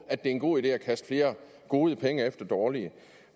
at det er en god idé at kaste flere gode penge efter dårlige